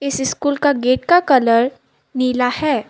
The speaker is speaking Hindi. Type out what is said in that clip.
इस स्कूल का गेट का कलर नीला है।